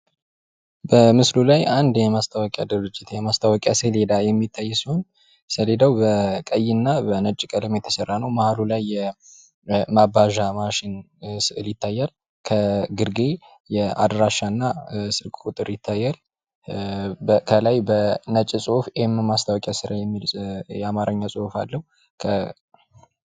በምስል ላይ አንድ የማስታወቂያ ድርጅት የማስታወቂያ ሰሌዳ የሚታይ ሲሆን ሰሌዳው በቀይና በነጭ ቀለም የተሰራ ነው ማህሉ ላይ የመባዣ ማሽን ይታያል። ከግርጌ አድራሻና ስልክ ቁጥር ይታያል። ከላይ በነጭ ጽሁፍ ኤም የማስታወቂያ ስራ የሚል የአማርኛ ጽሁፍ አለው።